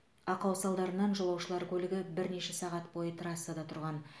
ақау салдарынан жолаушылар көлігі бірнеше сағат бойы трассада тұрған